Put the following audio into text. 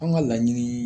An ka laɲini